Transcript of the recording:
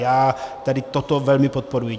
Já tady toto velmi podporuji.